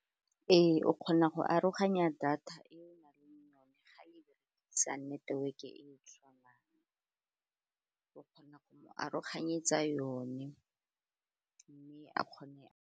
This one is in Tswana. Ee, o kgona go aroganya data e o nang le yone ga le berekisa network-e e tshwanang o kgona go mo aroganyetsa yone, mme a kgone.